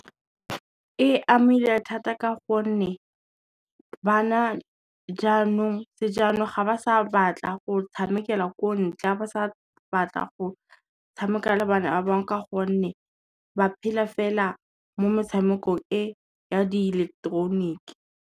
E amile thata ka gonne, bana sejanong ga ba sa batla go tshamekela ko ntle, ga ba sa batla go tshameka le bana ba bangwe ka gonne ba phela fela mo metshamekong e ya diileketeroniki.